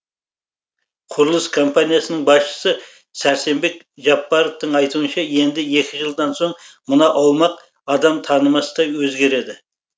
құрылыс компаниясының басшысы сәрсенбек жаппаровтың айтуынша енді екі жылдан соң мына аумақ адам танымастай өзгереді